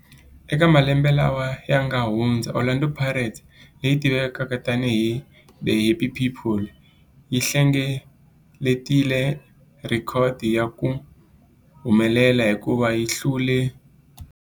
Eka malembe lawa yanga hundza, Orlando Pirates, leyi tivekaka tani hi 'The Happy People', yi hlengeletile rhekhodo ya ku humelela hikuva yi hlule